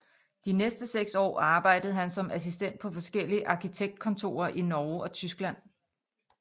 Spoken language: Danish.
De næste seks år arbejdede han som assistent på forskellige arkitektkontorer i Norge og Tyskland